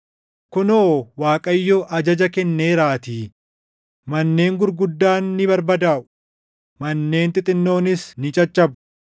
Kunoo Waaqayyo ajaja kenneeraatii, manneen gurguddaan ni barbadaaʼu; manneen xixinnoonis ni caccabu.